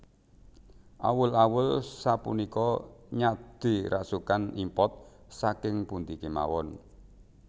Awul awul sapunika nyade rasukan import saking pundi kemawon